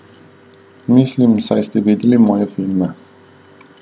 Mislim, saj ste videli moje filme.